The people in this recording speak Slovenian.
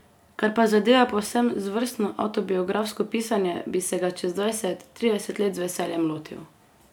Kar pa zadeva povsem zvrstno avtobiografsko pisanje, bi se ga čez dvajset, trideset let z veseljem lotil.